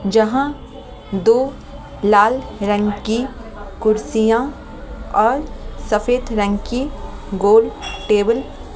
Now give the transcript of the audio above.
जहाँ दो लाल रंग की कुर्सियां और सफेद रंग की गोल टेबल --